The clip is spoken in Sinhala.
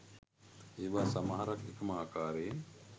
ඒවා සමහරක් එකම ආකාරයෙන්